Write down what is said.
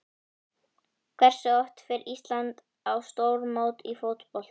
Hversu oft fer Ísland á stórmót í fótbolta?